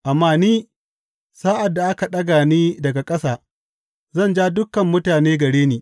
Amma ni, sa’ad da aka ɗaga ni daga ƙasa, zan ja dukan mutane gare ni.